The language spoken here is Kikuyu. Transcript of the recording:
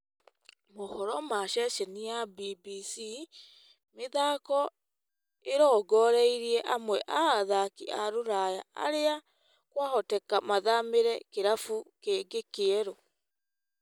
Mohoro ma ceceni ya BBC mĩthako ĩrongoreirie amwe a athaki a ruraya aria kwahoteka mathamĩre kĩrabu kĩngĩ kĩerũ.